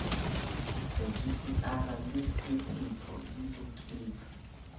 rejisetara le sephetho di loketse